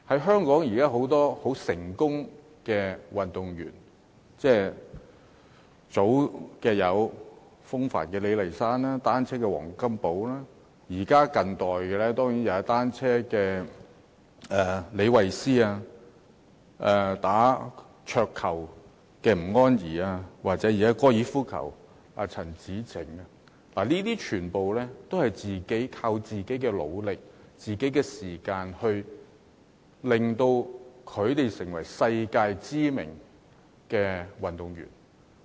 現時許多很成功的香港運動員，例如早年的滑浪風帆好手李麗珊、單車好手黃金寶，近年就有踏單車的李慧詩、打桌球的吳安儀及打高爾夫球的陳芷澄，他們都是靠自己的努力和付出時間，令自己成為世界知名的運動員。